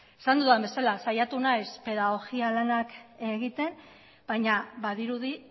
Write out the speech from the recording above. esan dudan bezala saiatu naiz pedagogia lanak egiten baina badirudi